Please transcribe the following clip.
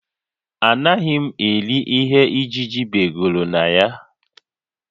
Anaghị m eri ihe ijiji begoro na ya